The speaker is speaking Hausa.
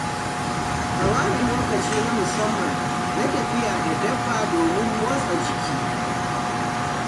Ka ware lokaci na musamman na tafiya da dabba domin motsa jiki.